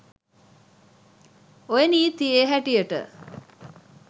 ඔය නීතියෙ හැටියට